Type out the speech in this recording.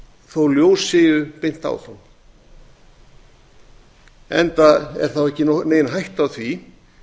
þó að ljós séu beint áfram enda er þá ekki nein hætta á því